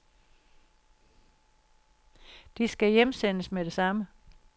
De skal hjemsendes med det samme.